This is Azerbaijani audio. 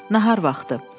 Nahar vaxtı.